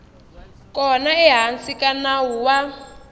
kona ehansi ka nawu wa